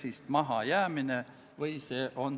Aitäh!